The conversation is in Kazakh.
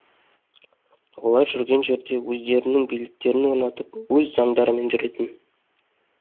олар жүрген жерде өздерінің биліктерін орнатып өз заңдарымен жүретін